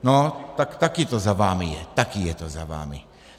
No tak taky to za vámi je, taky je to za vámi.